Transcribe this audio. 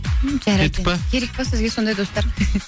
м жарайды керек пе сізге сондай достар